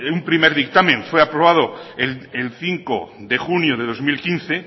un primer dictamen fue aprobado el cinco de junio del dos mil quince